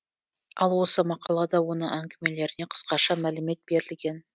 ал осы мақалада оның әңгімелеріне қысқаша мәлімет берілген